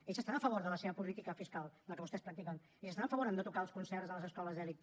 ells estan a favor de la seva política fiscal la que vostès practiquen i estan a favor a no tocar els concerts de les escoles d’elit